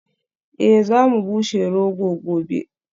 Eh za mu bushe rogo gobe